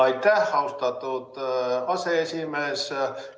Aitäh, austatud aseesimees!